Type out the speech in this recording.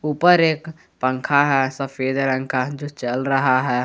ऊपर एक पंखा है सफेद रंग का जो चल रहा है।